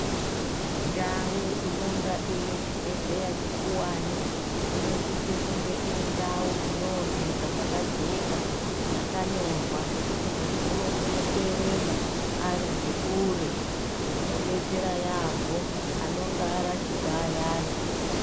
Ndau inonga ine chibhedhleya chikuwani inosise kunge iri ndau ino oneka paka jeka yakanyorwa zvekuti muntu unokone ku erenga ari ngekure ino detsera yambo anonga arashikwa ayani.